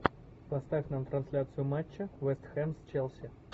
поставь нам трансляцию матча вест хэм с челси